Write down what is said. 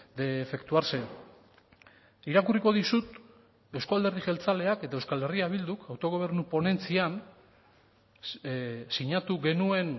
de efectuarse irakurriko dizut euzko alderdi jeltzaleak eta euskal herria bilduk autogobernu ponentzian sinatu genuen